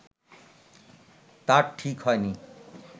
তার ঠিক হয়নি